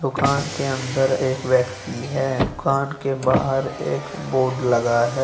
दुकान के अन्दर एक व्यक्ति हैं दुकान के बाहर एक बोर्ड लगा हैं।